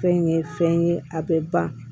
Fɛn ye fɛn ye a bɛ ban